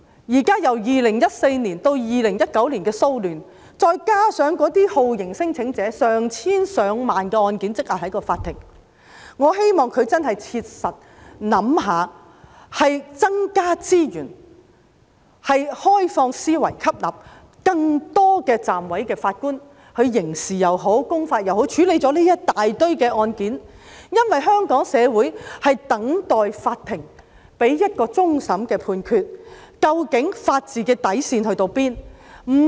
由2014年至2019年的騷亂案件，再加上有成千上萬宗酷刑聲請者案件積壓在法庭，我希望司法機構真的切實想想，必須增加資源及以開放思維吸納更多暫委法官，以處理這一大堆案件，因為香港社會正等待法庭給予一個終審判決，究竟法治的底線在哪裏？